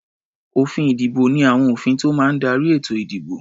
Òfin-ìdìbò ní àwọn òfin tó máa ń darí ètò-ìdìbò.